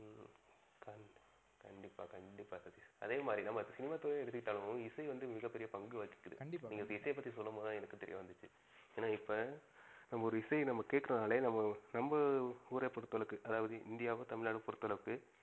கண்டிப்பா கண்டிப்பா சதீஷ். அதே மாரி சினிமா துறையே எடுத்துகிட்டாலும் இசை வந்து மிக பெரிய பங்கு வகிகிது. கண்டிப்பா கண்டிப்பா. நீங்க இப்ப இசைய பத்தி சொல்லும் போது தான் எனக்கு தெரிய வந்துச்சு. ஏன்னா இப்ப ஒரு இசைய நம்ப கேக்குறோம் நாளே நம்ப நம்ப ஊர்அ பொறுத்தளவுக்கு அதாவது இந்தியாவோ, தமிழ்நாடோ பொறுத்தளவுக்கு